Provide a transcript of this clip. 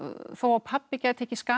þó að pabbi gæti ekki skapað